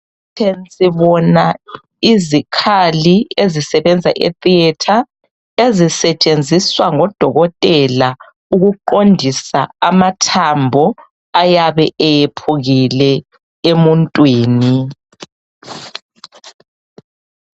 Empikitsheni sibona izikhali ezisebenza eTheatre ezisetshenziswa ngodokotela ukuqondisa amathambo ayabe eyephukile emuntwini.